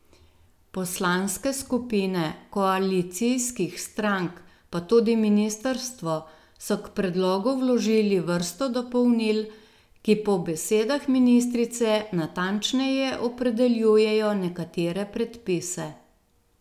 Poslanske skupine koalicijskih strank, pa tudi ministrstvo so k predlogu vložili vrsto dopolnil, ki po besedah ministrice natančneje opredeljujejo nekatere predpise.